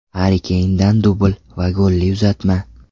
Harri Keyndan dubl va golli uzatma.